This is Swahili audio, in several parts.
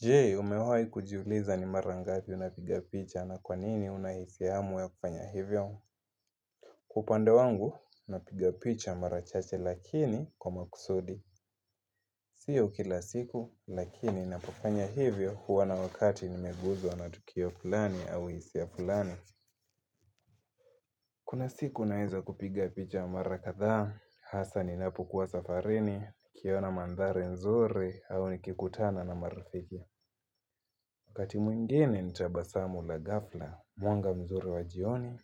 Jee, umewai kujiuliza ni mara ngapi unapiga picha na kwa nini una hisiamu ya kufanya hivyo? Kwa upande wangu, napiga picha mara chache lakini kwa makusudi. Sio kila siku, lakini napofanya hivyo huwa na wakati nimeguzwa na tukio fulani au hisia fulani. Kuna siku naweza kupiga picha mara kadhaa, hasa ninapokuwa safarini, kiona mandhari nzuri, au nikikutana na marafiki. Wakati mwingine ni tabasamu la ghafla, mwanga mzuri wa jioni,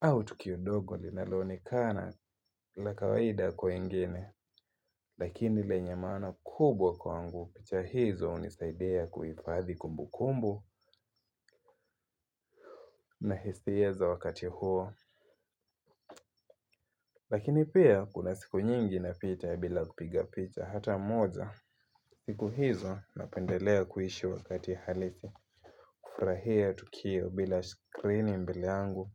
au tukio dogo linaloonekana la kawaida kwa wengine. Lakini lenye maana kubwa kwangu picha hizo hunisaidia kuifadhi kumbukumbu na hisia za wakati huo. Lakini pia kuna siku nyingi napita bila kupiga picha hata moja. Siku hizo napendelea kuishi wakati halisi. Kufurahia tukio bila skrini mbele yangu.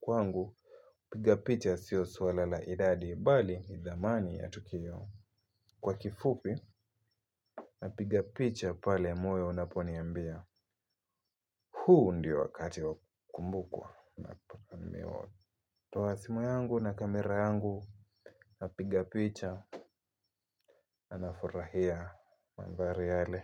Kwangu kupiga picha sio swala la idadi bali ni dhamani ya tukio. Kwa kifupi napiga picha pale moyo unaponiambia. Huu ndio wakati wa kumbukwa Tawa simu yangu na kamera yangu napiga picha. Anafurahia mandhari yale.